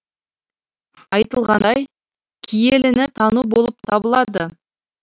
айтылғандай киеліні тану болып табылады